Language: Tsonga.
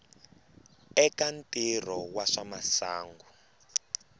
eka ntirho wa swa masangu